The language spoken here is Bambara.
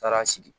Taara sigi